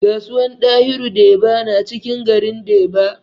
Kasuwan dahiru deba na cikin garin deba